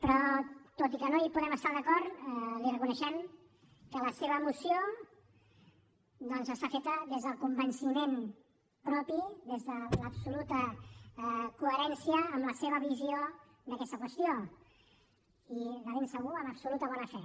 però tot i que no hi podem estar d’acord li reconeixem que la seva moció està feta des del convenciment propi des de l’absoluta coherència amb la seva visió d’aquesta qüestió i de segur amb absoluta bona fe